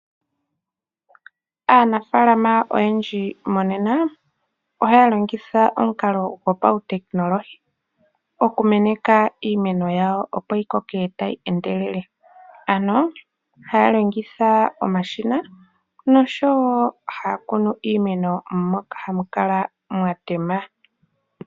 Aanafaalama oyendji monena ohaya longitha omukalo gopautekinolohi okumeneka iimeno yawo opo yi koke tayi endelele. Ano ohaya longitha omashina noshowo haya kunu iimeno moka hamu kala mwa tema.